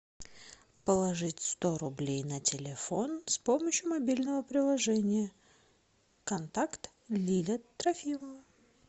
положить сто рублей на телефон с помощью мобильного приложения контакт лиля трофимова